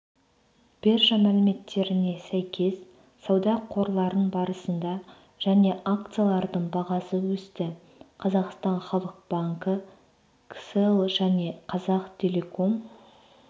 биржа мәліметтеріне сәйкес сауда қорларын барысында және акцияларының бағасы өсті қазақстан халық банкі кселл және қазақтелеком